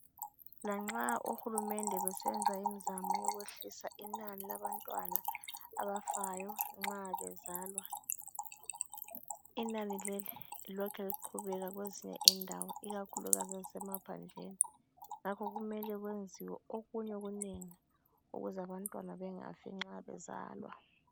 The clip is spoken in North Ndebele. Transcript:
Lanxa ohulumende besenza imizamo yokwehlisa inani labantwana abafayo nxa bezalwa, inani leli lilokhe liqhubeka kwezinye indawo ikakhulukazi ezisemaphandleni. Ngakho kumele kwenziwe okunye okunengi ukuze abantwana bangafi nxa bezalwa.